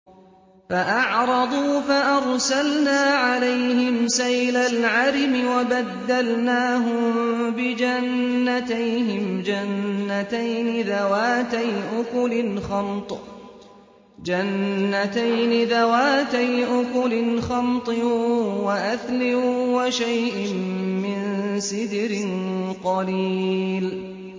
فَأَعْرَضُوا فَأَرْسَلْنَا عَلَيْهِمْ سَيْلَ الْعَرِمِ وَبَدَّلْنَاهُم بِجَنَّتَيْهِمْ جَنَّتَيْنِ ذَوَاتَيْ أُكُلٍ خَمْطٍ وَأَثْلٍ وَشَيْءٍ مِّن سِدْرٍ قَلِيلٍ